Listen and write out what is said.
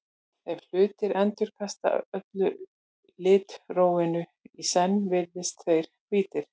ef hlutir endurkasta öllu litrófinu í senn virðast þeir hvítir